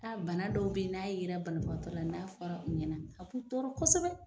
bana dɔw bɛ ye n'a yera banabagatɔ la n'a fɔra u ɲɛna a b'u tɔɔrɔ kosɛbɛ.